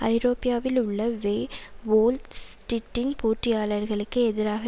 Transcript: ஐரோப்யாவில் உள்ள வெ வோல் ஸ்டிட்டின் போட்டியாளர்களுக்கு எதிரான